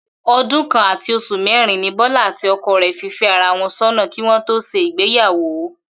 O̩dún kan àti os̩ù mérin ni Bó̩lá àti o̩ko̩ rè̩ fi fé̩ ara wo̩n só̩nà kí wó̩n tó s̩e ìgbéyàwó